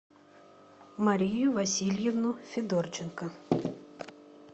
марию васильевну федорченко